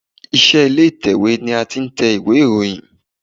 Ilé iṣẹ́ ìtẹ̀wẹ́ ni a ti ń tẹ ìwé ìròyìn.